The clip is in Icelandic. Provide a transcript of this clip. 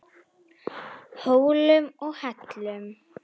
Hólum og hellum.